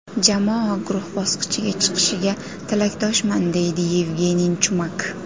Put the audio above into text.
Jamoa guruh bosqichiga chiqishiga tilakdoshman!”, deydi Yevgeniy Chumak.